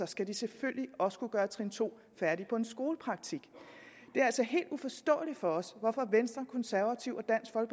skal de selvfølgelig også kunne gøre trin to færdig på en skolepraktik det er altså helt uforståeligt for os hvorfor venstre konservative